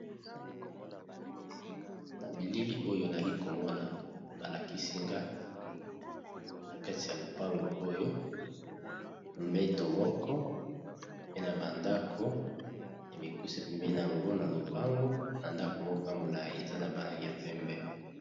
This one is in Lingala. Bilili oyo nazo komona balakisinga nakati ya lopango oyo mbeto moko pe na ba ndako ya mikuse napembeni nango nalopango na ndako moko yamolayi eza na ba langi ya pembe.